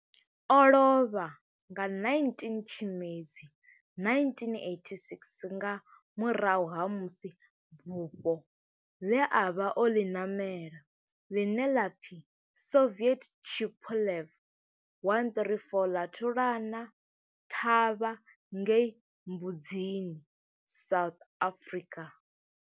O lovha nga 19 Tshimedzi 1986 nga murahu ha musi bufho ḽe a vha o ḽi namela, ḽine ḽa pfi Soviet Tupolev 134 ḽa thulana thavha ngei Mbuzini, South Africa.